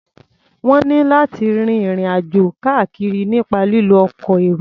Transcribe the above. Wọ́n ní láti rin ìrìn-àjò káàkiri nípa lílo ọkọ̀ èrò.